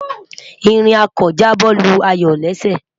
ìrìn ako ja bo Lu ayọ lésè